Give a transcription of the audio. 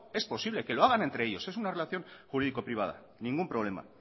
es posible que lo hagan entre ellos es una relación jurídico privada ningún problema